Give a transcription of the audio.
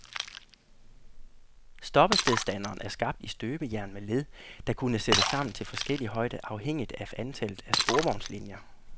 Stoppestedstanderen er skabt i støbejern med led, der kunne sættes sammen til forskellig højde afhængigt af antallet af sporvognslinier.